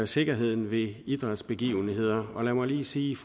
sikkerheden ved idrætsbegivenheder lad mig lige sige